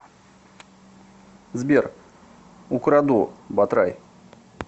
сбер украду батрай